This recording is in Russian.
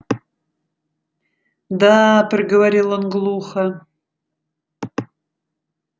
да проговорил он глухо